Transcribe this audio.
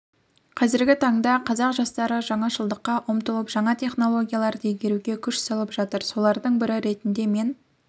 қазіргі таңда қазақ жастары жаңашылдыққа ұмтылып жаңа технологияларды игеруге күш салып жатыр солардың бірі ретінде мен